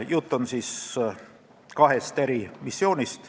Jutt on kahest missioonist.